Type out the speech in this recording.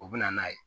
U bɛ na n'a ye